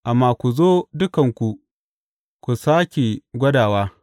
Amma ku zo dukanku, ku sāke gwadawa!